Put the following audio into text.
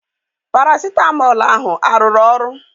Parasitamọl ahụ arụrụ ọrụ?